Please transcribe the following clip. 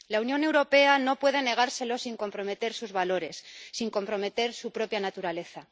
La Unión Europea no puede negárselo sin comprometer sus valores, sin comprometer su propia naturaleza.